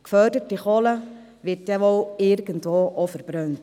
Geförderte Kohle wird wohl dann irgendwo verbrannt.